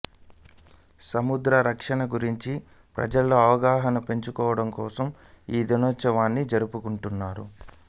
సముద్ర రక్షణ గురించి ప్రజల్లో అవగాహన పెంచడంకోసం ఈ దినోత్సవాన్ని జరుపుకుంటున్నారు